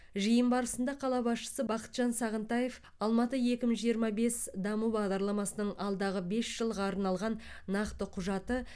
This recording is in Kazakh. жиын барысында қала басшысы бақытжан сағынтаев алматы екі мың жиырма бес даму бағдарламасының алдағы бес жылға арналған нақты құжаты